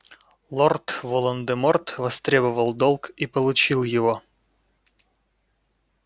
лорд волан-де-морт востребовал долг и получил его